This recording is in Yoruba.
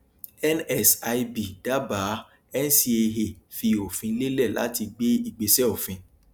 nsib dábàá ncaa fí òfin lélẹ láti gbé ìgbésẹ òfin